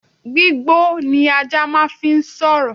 Gbígbó ni ajá máà ń fi sọ̀rọ̀